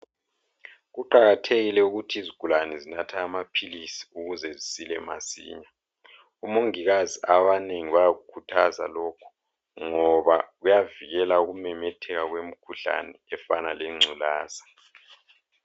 Kuqakathekile ukuthi izigulane zinathe amaphilisi ukuze zisile masinya. Omongikazi abanengi bayakukhuthaza lokhu, ngoba kuyavikela ukumemetheka kwemikhuhlane efana lengculaza.